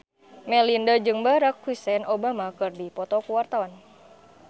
Melinda jeung Barack Hussein Obama keur dipoto ku wartawan